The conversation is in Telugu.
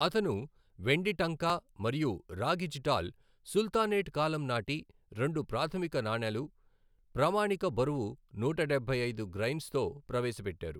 అతను వెండి టంకా మరియు రాగి జిటాల్, సుల్తానేట్ కాలం నాటి రెండు ప్రాథమిక నాణేలు, ప్రామాణిక బరువు నూట డబ్బై ఐదు గ్రైన్స్ తో ప్రవేశపెట్టారు.